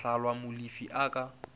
a hlahlwa molefi a ka